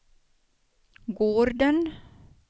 gården